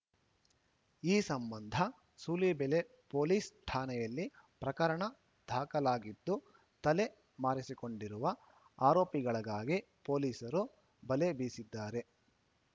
ಈ ಸಂಬಂಧ ಸೂಲಿಬೆಲೆ ಪೊಲೀಸ್‌ ಠಾಣೆಯಲ್ಲಿ ಪ್ರಕರಣ ದಾಖಲಾಗಿದ್ದು ತಲೆ ಮಾರಿಸಿಕೊಂಡಿರುವ ಆರೋಪಿಗಳಿಗಾಗಿ ಪೊಲೀಸರು ಬಲೆ ಬೀಸಿದ್ದಾರೆ